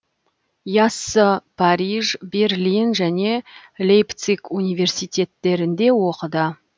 яссы париж берлин және лейпциг университеттерінде оқыды